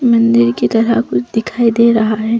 मंदिर की तरह कुछ दिखाई दे रहा है।